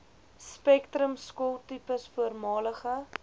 spektrum skooltipes voormalige